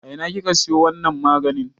A ina kika siyo wannan maganin?